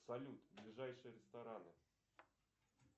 салют ближайшие рестораны